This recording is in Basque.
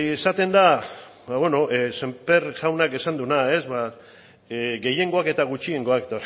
esaten da beno sémper jaunak esan duena gehiengoak eta gutxiengoak